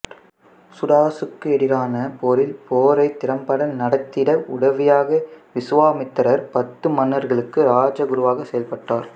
சுதாசுக்கு எதிரான போரில் போரைத் திறம்பட நடத்திட உதவியாக விசுவாமித்திரர்பத்து மன்னர்களுக்கு இராஜ குருவாக செயல்பட்டார்